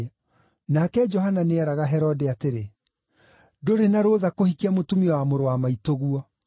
Nake Johana nĩeraga Herode atĩrĩ, “Ndũrĩ na rũtha kũhikia mũtumia wa mũrũ wa maitũguo.”